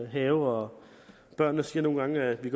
have og børnene siger nogle gange at de